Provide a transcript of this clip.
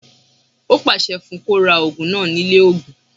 Ó pàṣẹ fún un kó ra ògùn náà ní ilé ògùn